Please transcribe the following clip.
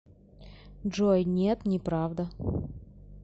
джой нет неправда